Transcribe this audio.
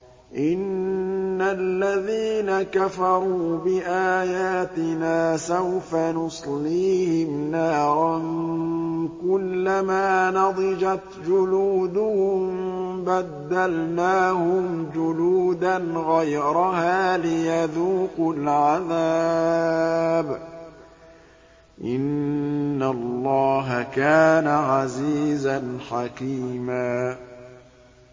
إِنَّ الَّذِينَ كَفَرُوا بِآيَاتِنَا سَوْفَ نُصْلِيهِمْ نَارًا كُلَّمَا نَضِجَتْ جُلُودُهُم بَدَّلْنَاهُمْ جُلُودًا غَيْرَهَا لِيَذُوقُوا الْعَذَابَ ۗ إِنَّ اللَّهَ كَانَ عَزِيزًا حَكِيمًا